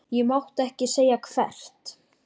Ég mátti ekki segja hvert.